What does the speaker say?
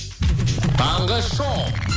таңғы шоу